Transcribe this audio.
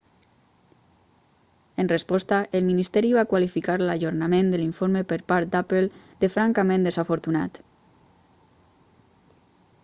en resposta el ministeri va qualificar l'ajornament de l'informe per part d'apple de francament desafortunat